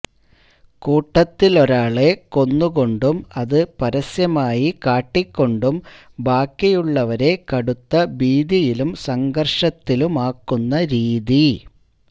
കൂട്ടത്തിലൊരാളെ കൊന്നുകൊണ്ടും അതു പരസ്യമായി കാട്ടിക്കൊണ്ടും ബാക്കിയുള്ളവരെ കടുത്ത ഭീതിയിലും സംഘര്ഷത്തിലുമാക്കുന്ന രീതി